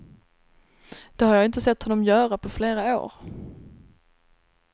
Det har jag inte sett honom göra på flera år.